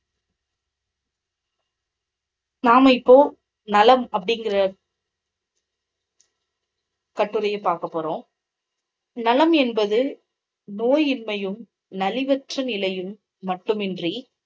நாம இப்போ நலம் அப்படிங்கற கட்டுரையை பார்க்கப் போறோம். நலம் என்பது நோயின்மையும், நலிவற்ற நிலையும் மட்டுமின்றி